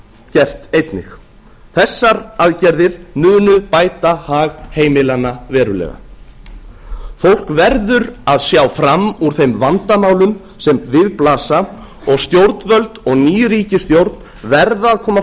gert einnig þessar aðgerðir munu bæta hag heimilanna verulega fólk verður að sjá fram úr þeim vandamálum sem við blasa og stjórnvöld og ný ríkisstjórn verða að koma